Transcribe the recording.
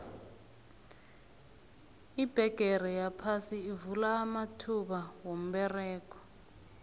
ibhegere yaphasi ivula amathuba womberego